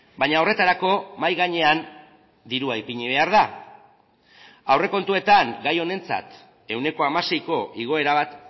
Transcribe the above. baina horretarako mahai gainean dirua ipini behar da aurrekontuetan gai honentzat ehuneko hamaseiko igoera bat